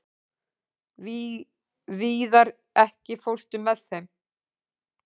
Víðar, ekki fórstu með þeim?